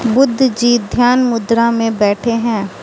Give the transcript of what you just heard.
बुद्ध जी ध्यान मुद्रा में बैठे हैं।